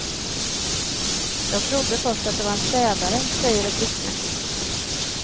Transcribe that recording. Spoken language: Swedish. Jag trodde först att det var en städare, säger ett vittne.